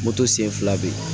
Moto sen fila bɛ yen